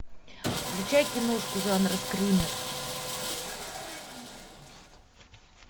включай киношку жанра скример